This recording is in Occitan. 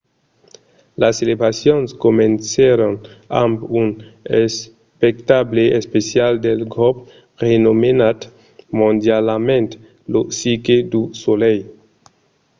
las celebracions comencèron amb un espectacle especial del grop renomenat mondialament lo cirque du soleil